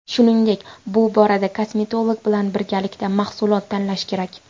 Shuningdek, bu borada kosmetolog bilan birgalikda mahsulot tanlash kerak.